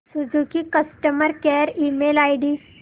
Suzuki customer care email ID